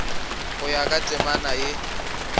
go ya ka temana ye